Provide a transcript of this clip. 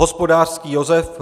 Hospodářský Josef